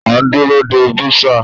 A ń dúró de bursar.